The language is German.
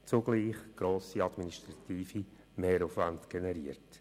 Zugleich wird ein grosser administrativer Mehraufwand generiert.